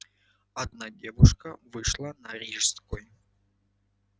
одна девушка вышла на рижской